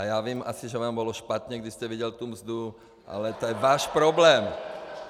A já vím asi, že vám bylo špatně, když jste viděl tu mzdu, ale to je váš problém.